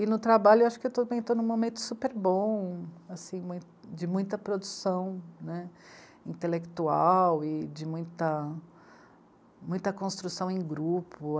E, no trabalho, eu acho que eu também estou num momento super bom, assim, mui, de muita produção, né, intelectual e de muita... muita construção em grupo.